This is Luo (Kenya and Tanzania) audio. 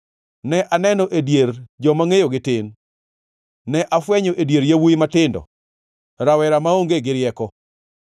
ne aneno e dier joma ngʼeyogi tin, ne afwenyo e dier yawuowi matindo, rawera maonge gi rieko.